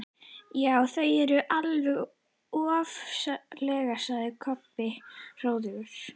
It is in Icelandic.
Já, þau eru alveg ofsaleg, sagði Kobbi hróðugur.